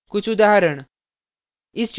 कुछ उदाहरण